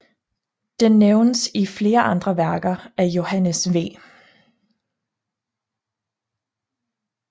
Den nævnes i flere andre værker af Johannes V